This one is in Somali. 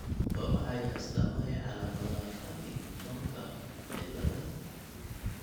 Waa maxay astamaha iyo calaamadaha Partingtonka ciladaha?